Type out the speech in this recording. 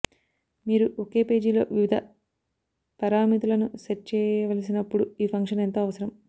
మీరు ఒకే పేజీలో వివిధ పారామితులను సెట్ చేయవలసినప్పుడు ఈ ఫంక్షన్ ఎంతో అవసరం